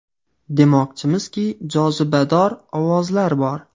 Demoqchimizki, jozibador ovozlar bor.